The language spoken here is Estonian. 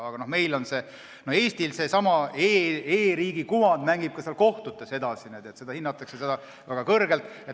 Aga seesama Eesti e-riigi kuvand mängib ka kohtutes edasi niimoodi, et seda hinnatakse väga kõrgelt.